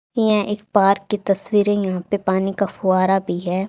यह एक पार्क की तस्वीर है यहां पे पानी का फुवारा भी है।